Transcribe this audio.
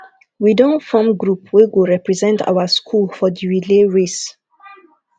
we don form group wey go represent our skool for di relay race